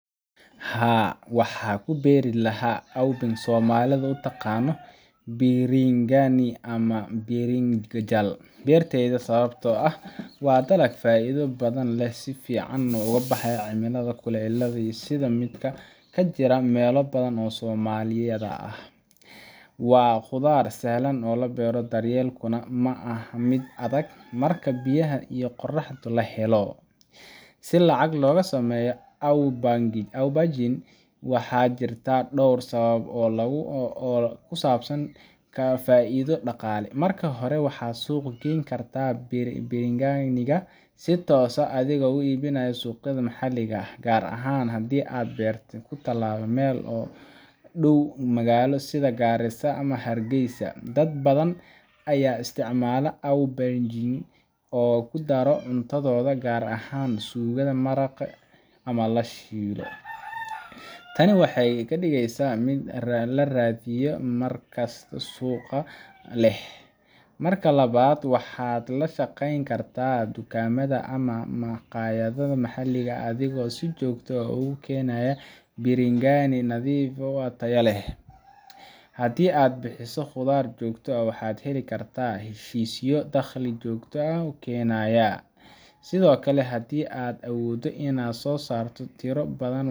Haa, waxaan ku beeri lahaa aubergine oo Soomaalidu u taqaan biringani ama birinjal beertayda, sababtoo ah waa dalag faa’iido badan leh oo si fiican ugu baxa cimilada kulaylaha leh sida midda ka jirta meelo badan oo Soomaaliya ka mid ah. Waa khudaar sahlan in la beero, daryeelkeeduna ma aha mid adag, marka biyaha iyo qorraxda la helo. Si lacag looga sameeyo aubergine, waxaa jirta dhowr hab oo lagu kasban karo faa’iido dhaqaale: Marka hore, waxaad suuq geeyn kartaa biringaniga si toos ah adigoo ka iibinaya suuqyada maxalliga ah, gaar ahaan haddii aad beerta ku taallo meel u dhow magaalo sida Garissa ama Hargeisa. Dad badan ayaa isticmaala aubergine oo ku daro cuntadooda, gaar ahaan suugada, maraqa, ama la shiilo. Tani waxay ka dhigeysaa mid la raadiyo, markaasna suuq leh. Marka labaad, waxaad la shaqayn kartaa dukaamada ama makhaayadaha maxalliga ah adigoo si joogto ah ugu keena biringani nadiif ah oo tayo leh. Haddii aad bixiso khudaar joogto ah, waxaad heli kartaa heshiisyo dakhli joogto ah kuu keenaya. Sidoo kale, haddii aad awooddo inaad soo saarto tiro badan,